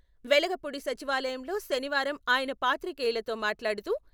వెలగపూడి సచివాలయంలో శనివారం ఆయన పాత్రికేయులతో మాట్లాడుతూ...